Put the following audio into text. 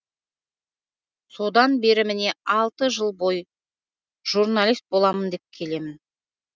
содан бері міне алты жыл бой журналист боламын деп келемін